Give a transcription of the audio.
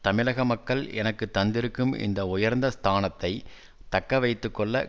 தமிழக மக்கள் எனக்கு தந்திருக்கும் இந்த உயர்ந்த ஸ்தானத்தை தக்க வைத்து கொள்ள